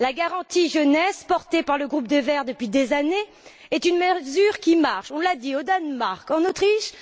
La garantie jeunesse, portée par le groupe des Verts depuis des années, est une mesure qui marche, on l'a dit, au Danemark, en Autriche.